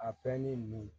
A pɛrɛnni